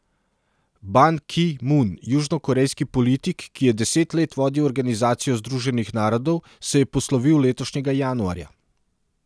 Ban Ki Mun, južnokorejski politik, ki je deset let vodil organizacijo združenih narodov, se je poslovil letošnjega januarja.